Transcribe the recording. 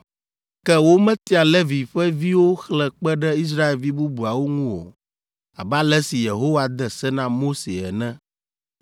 Ke wometia Levi ƒe viwo xlẽ kpe ɖe Israelvi bubuawo ŋu o, abe ale si Yehowa de se na Mose ene.